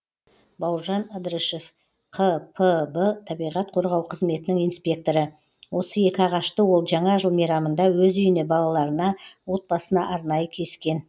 бауыржан ыдрышев қпб табиғат қорғау қызметінің инспекторы осы екі ағашты ол жаңа жыл мейрамында өз үйіне балаларына отбасына арнайы кескен